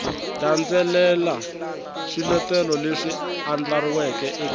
landzelela swiletelo leswi andlariweke eka